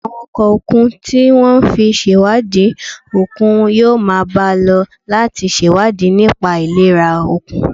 Àwọn ọkọ̀ òkun tí wọ́n fi ń ṣèwádìí òkun yóò máa bá a lọ láti ṣèwádìí nípa ìlera òkun